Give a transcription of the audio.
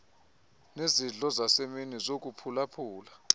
nezidlo zasemini zokuphulaphula